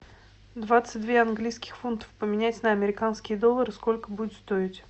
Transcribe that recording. двадцать две английских фунтов поменять на американские доллары сколько будет стоить